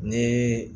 Ni